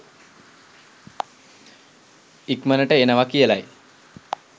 ඉක්‌මනට එනවා කියලයි.